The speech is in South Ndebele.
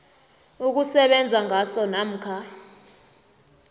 ukusebenza ngaso namkha